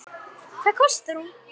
Hvað kostar hún?